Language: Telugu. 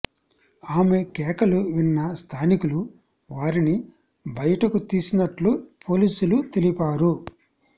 ఆమె కేకలు విన్న స్థానికులు వారిని బయటకు తీసినట్లు పోలీసులు తెలిపారు